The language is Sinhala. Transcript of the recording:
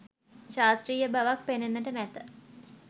ශාස්ත්‍රීය බවක් පෙනෙන්නට නැත